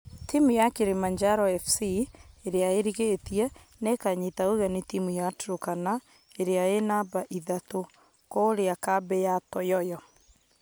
Timũ ya kilimanjaro fc ĩrĩa ĩrigetie nĩkanyita ũgeni timũ ya turkana ĩrĩa e namba ithatũ , kũria kambĩ ya toyoyo.